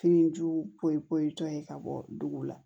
Fini jugu ye tɔ ye ka bɔ dugu la